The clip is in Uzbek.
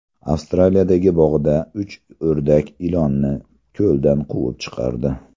Avstraliyadagi bog‘da uch o‘rdak ilonni ko‘ldan quvib chiqardi.